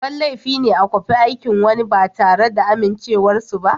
Babban laifi ne a kwafi aikin wani ba tare da amincewar su ba.